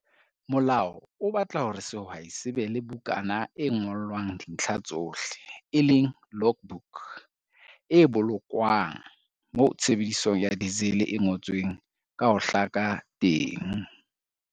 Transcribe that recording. Molao o batla hore sehwai se be le bukana e ngolwang dintlha tsohle, logbook, e bolokwang, moo tshebediso ya diesel e ngotsweng ka ho hlaka teng.